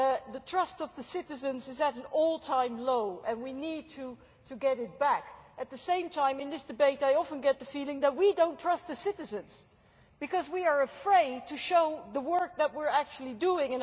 The trust of citizens is at an all-time low and we need to get it back. At the same time, in this debate I often get the feeling that we do not trust the citizens because we are afraid to show the work that we are actually doing.